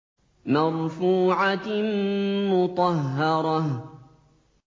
مَّرْفُوعَةٍ مُّطَهَّرَةٍ